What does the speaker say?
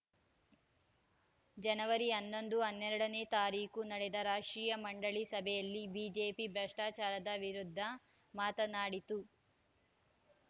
ಜನವರಿ ಹನ್ನೊಂದು ಹನ್ನೆರಡ ನೇ ತಾರೀಖು ನಡೆದ ರಾಷ್ಟ್ರೀಯ ಮಂಡಳಿ ಸಭೆಯಲ್ಲಿ ಬಿಜೆಪಿ ಭ್ರಷ್ಟಾಚಾರದ ವಿರುದ್ಧ ಮಾತನಾಡಿತು